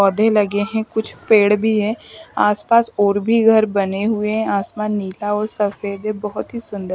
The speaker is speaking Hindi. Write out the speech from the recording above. पौधे लगे हैं कुछ पेड़ भी है आस-पास और भी घर बने हुए हैं आसमान नीला और सफ़ेद है बहुत ही सुंदर --